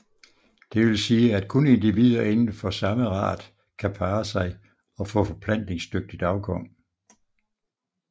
Det vil sige at kun individer inden for samme art kan parre sig og få forplantningsdygtigt afkom